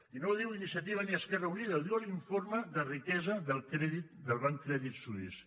i no ho diu iniciativa ni esquerra unida ho diu l’informe de riquesa del banc credit suisse